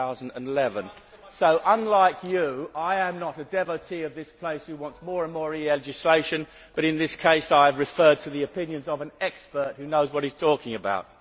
2011. So unlike you, I am not a devotee of this place who wants more and more EU legislation, but in this case I have referred to the opinions of an expert who knows what he is talking about.